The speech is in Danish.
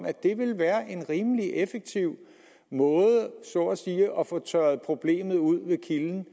at det ville være en rimelig effektiv måde så at sige at få tørret problemet ud ved kilden